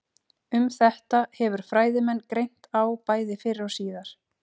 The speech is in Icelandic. Um þetta hefur fræðimenn greint á bæði fyrr og síðar.